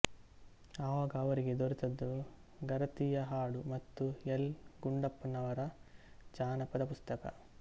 ಆವಾಗ ಅವರಿಗೆ ದೊರೆತದ್ದು ಗರತಿಯ ಹಾಡು ಮತ್ತು ಎಲ್ ಗುಂಡಪ್ಪನವರ ಜಾನಪದ ಪುಸ್ತಕ